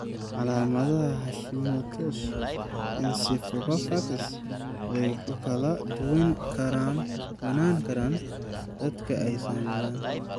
Calaamadaha Hashimoto's encephalitis way ku kala duwanaan karaan dadka ay saameeyeen.